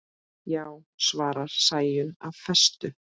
Já, svarar Sæunn af festu.